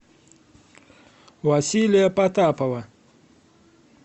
василия потапова